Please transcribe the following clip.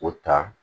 O ta